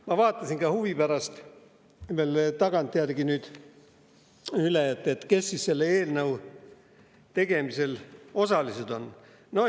Ma vaatasin huvi pärast veel tagantjärgi üle, kes siis selle eelnõu tegemisel osalised on olnud.